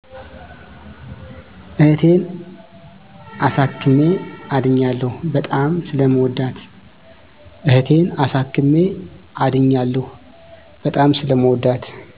እህቴን አሳክሜ አድኛለሁ። በጣም ስለምወዳት